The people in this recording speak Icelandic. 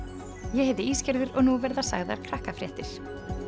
ég heiti og nú verða sagðar